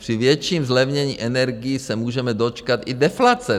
Při větším zlevnění energií se můžeme dočkat i deflace.